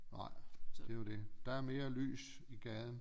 Nej det er jo det der er mere lys i gaden